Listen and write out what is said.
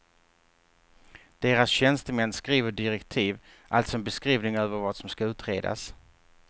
Deras tjänstemän skriver direktiv, alltså en beskrivning över vad som ska utredas.